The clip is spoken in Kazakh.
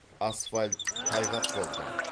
асфальт тайғақ болды